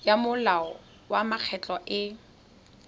ya molao wa mekgatlho e